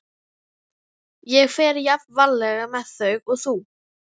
Ég fer jafn varlega með þau og þú.